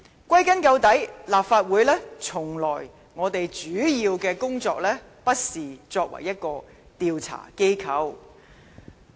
歸根究底，立法會主要的工作從來不是作為調查機構。